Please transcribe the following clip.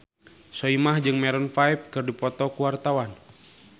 Soimah jeung Maroon 5 keur dipoto ku wartawan